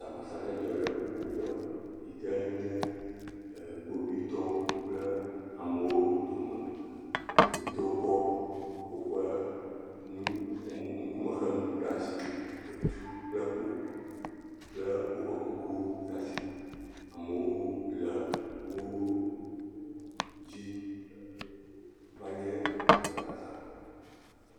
Ŋutifafazɔli zɔzɔ aɖe le edzi yim le du aɖe me eye zɔlia zɔlawo ŋlɔ nuwo ɖe agbale kple ɖakaviwo aɖe dzi do ɖe dzi. Kpovitɔ aɖewo de zigidi le wo dome eye ame aɖewo hã le du dzi. Kpovitɔwo dzi be yewoa le ame siwo le azɔlia zɔm.